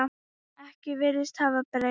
Ekkert virðist hafa breyst.